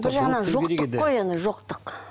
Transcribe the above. бір жағынан жоқтық қой енді жоқтық